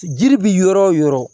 Jiri bi yɔrɔ wo yɔrɔ